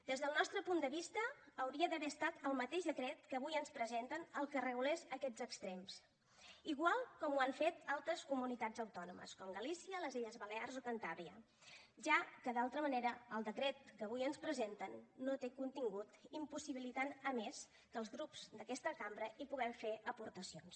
des del nostre punt de vista hauria d’haver estat el mateix decret que avui ens presenten el que regulés aquests extrems igual com ho han fet altres comunitats autònomes com galícia les illes balears o cantàbria ja que d’altra manera el decret que avui ens presenten no té contingut i impossibilita a més que els grups d’aquesta cambra hi puguem fer aportacions